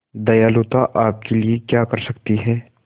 दयालुता आपके लिए क्या कर सकती है